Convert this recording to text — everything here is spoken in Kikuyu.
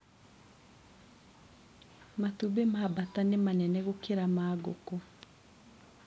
Matumbĩ ma mbata nĩ manene gũkĩra ma ngũkũ.